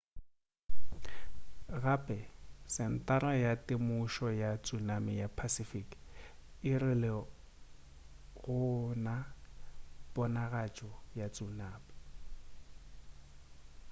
gape sentara ya temošo ya tsunami ya pacific e rile ga go na ponagatšo ya tsunami